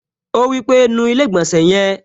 Ó wí pé, "nu ilé-ìgbọ̀nsẹ̀ yẹn"